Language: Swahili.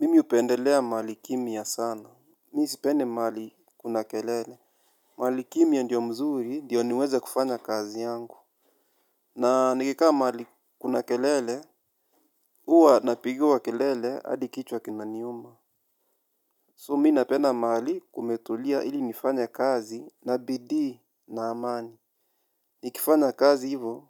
Mimi hupendelea mahali kimya sana. Mi sipendi mahali kuna kelele. Mahali kimya ndio mzuri ndiyo niweze kufanya kazi yangu. Na nikikaa mahali kuna kelele. Huwa napigiwa kelele hadi kichwa kinaniuma. So mi napenda mahali kumetulia ili nifanye kazi na bidii na amani. Nikifanya kazi hivo.